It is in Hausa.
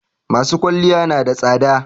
masu kwalliya nada tsada